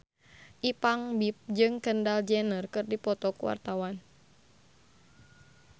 Ipank BIP jeung Kendall Jenner keur dipoto ku wartawan